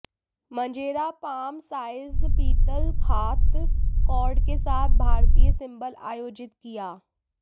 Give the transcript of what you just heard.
मंजेरा palm size पीतल हाथ cord के साथ भारतीय सिंबल आयोजित किया